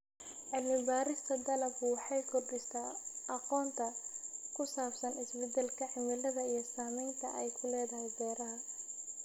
Cilmi-baarista dalaggu waxay kordhisaa aqoonta ku saabsan isbeddelka cimilada iyo saamaynta ay ku leedahay beeraha.